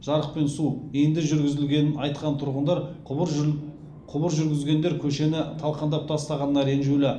жарық пен су енді жүргізілгенін айтқан тұрғындар құбыр жүргізгендер көшені талқандап тастағанына ренжулі